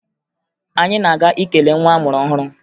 Anyị na-aga ikele nwa a mụrụ ọhụrụ